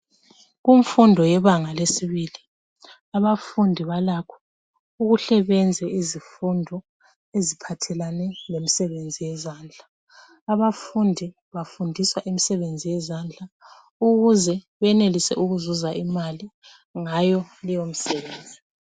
Kumfundo yebanga lesibili abafundi balakho ukuhle benze izifundo eziphathelane lemisebenzi yezandla. Abafundi bafundiswa imisebenzi yezandla ukuze benelise ukuzuza imali ngayo leyomsebenzi.